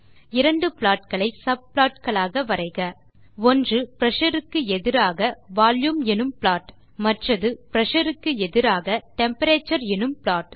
இரண்டு ப்ளாட் களை சப்ளாட் களாக வரைக ஒன்று பிரஷர் க்கு எதிராக வால்யூம் எனும் ப்ளாட் மற்றது பிரஷர் க்கு எதிராக டெம்பரேச்சர் எனும் ப்ளாட்